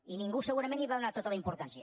i ningú segurament hi va donar tota la importància